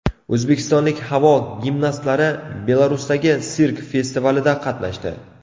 O‘zbekistonlik havo gimnastlari Belarusdagi sirk festivalida qatnashdi.